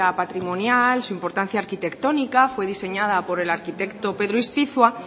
patrimonial su importancia arquitectónica fue diseñada por el arquitecto pedro ispizua